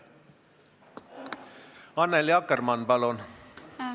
Annely Akkermann, palun!